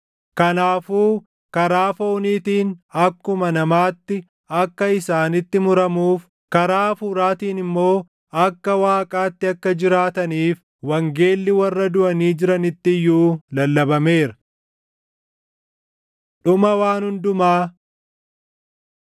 Kanaafuu karaa fooniitiin akkuma namaatti akka isaanitti muramuuf, karaa hafuuraatiin immoo akka Waaqaatti akka jiraataniif wangeelli warra duʼanii jiranitti iyyuu lallabameera. Dhuma Waan Hundumaa